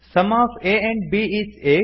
some of a and b is eight